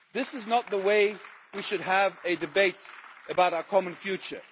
This is not the way we should have a debate about our common future.